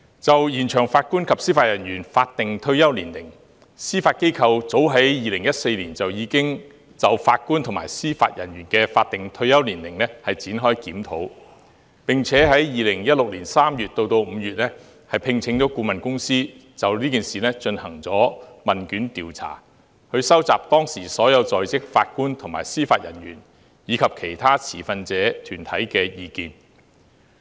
就延長法官及司法人員法定退休年齡，司法機構早於2014年已就法官及司法人員的法定退休年齡展開檢討，並於2016年3月至5月聘請顧問公司就此事進行問卷調查，以收集當時所有在職法官和司法人員，以及其他持份者團體的意見。